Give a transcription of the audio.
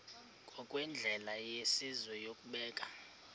ngokwendlela yesizwe yokubeka